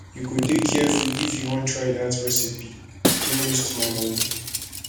you go dey careful if you wan try dat recipe no waste my moni